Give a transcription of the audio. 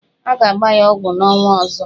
A ga-agba ya ọgwụ n'ọnwa ọzọ.